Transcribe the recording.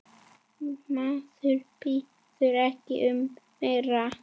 Maður biður ekki um meira.